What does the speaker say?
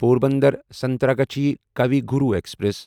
Porbandar Santragachi Kavi Guru express